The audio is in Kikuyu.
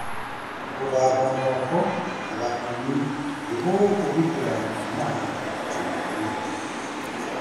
Gũthamba moko na thabuni nĩgũkũgitĩra kuumana na mĩrimũ.